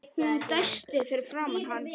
Hún dæsti fyrir framan hann.